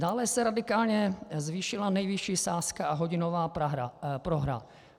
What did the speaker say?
Dále se radikálně zvýšila nejvyšší sázka a hodinová prohra.